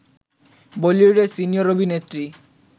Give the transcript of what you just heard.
বলিউডের সিনিয়র অভিনেত্রী